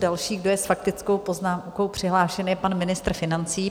Další, kdo je s faktickou poznámkou přihlášen, je pan ministr financí.